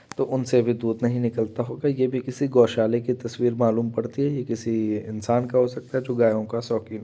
तो उनसे भी दूध नहीं निकलता होगा ये भी किसी गौशाला की तस्वीर मालूम पड़ती है ये किसी इंसान का हो सकता है जो गायों का शौक़ीन हो।